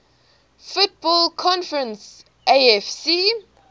football conference afc